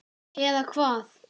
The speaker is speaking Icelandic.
eða hvað?